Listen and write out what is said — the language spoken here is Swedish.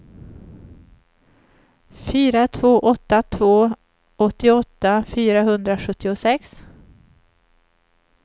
fyra två åtta två åttioåtta fyrahundrasjuttiosex